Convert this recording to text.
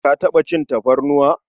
Ka taɓa cin tafarnuwa?